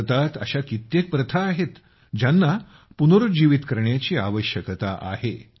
भारतात अशा कित्येक प्रथा आहेत ज्यांना पुनरूज्जीवित करण्याची आवश्यकता आहे